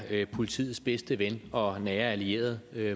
politiets bedste ven og nære allierede